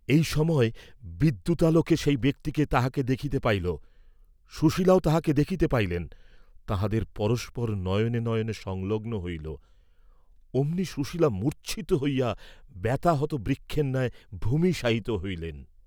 এই সময় বিদ্যুতালোকে সেই ব্যক্তি তাঁহাকে দেখিতে পাইল, সুশীলাও তাহাকে দেখিতে পাইলেন, তাঁহাদের পরস্পর নয়নে নয়নে সংলগ্ন হইল, অমনি সুশীলা মূর্চ্ছিত হইয়া বাত্যাহত বৃক্ষের ন্যায় ভূমিশায়িত হইলেন।